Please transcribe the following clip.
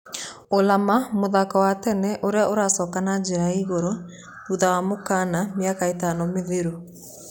Ulama. Mũthako wa tene ũria uracoka na jĩra ya ĩgũrũ thutha wa mũkana mĩaka ĩtano mĩthiru.